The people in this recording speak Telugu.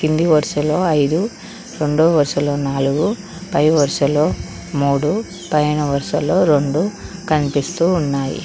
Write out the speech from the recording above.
కింది వరుసలో ఐదు రొండో వరుసలో నాలుగు పై వరసలో మూడు పైన వరుసలో రొండు కనిపిస్తూ ఉన్నాయి.